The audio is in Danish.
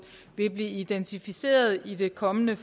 vil blive identificeret i det kommende